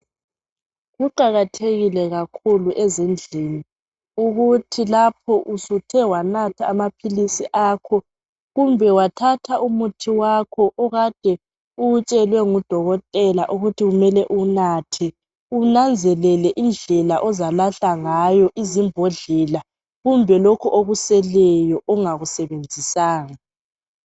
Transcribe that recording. Kuqakathekile kakhulu ezindlini ukuthi lapho usuthe wanatha amaphilisi akho kumbe wamthatha umuthi wakho okade uwutshelwe ngudokotela ukuthi kumele uwunathe unanzelele indlela ozalahla ngayo izimbhodlela kumbe lokhu okuseleyo ongakusebenzisanga.